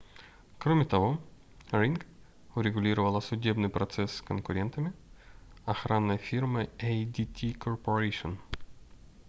кроме того ring урегулировала судебный процесс с конкурентами охранной фирмой adt corporation